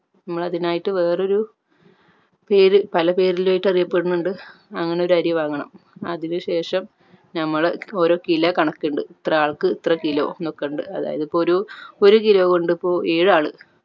നമ്മൾ അതിനായിട്ട് വേറൊരു പേര് പല പേരിലായിട്ട് അറിയപ്പെടുന്നുണ്ട് അങ്ങനെ ഒരു അരി വാങ്ങണം അതിനു ശേഷം നമ്മൾ ഓരോ kilo കണക്ക് ഇണ്ട് ഇത്ര ആൾക്ക് ഇത്ര kilo എന്നൊക്കെ ഇണ്ട് അതായത് ഇപ്പോ ഒരു ഒരു kilo കൊണ്ട് ഇപ്പോ ഏഴ് ആൾ